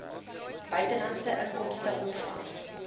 buitelandse inkomste ontvang